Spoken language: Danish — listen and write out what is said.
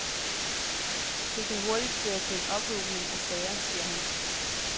Det kan hurtigt føre til en ophobning af sager, siger han.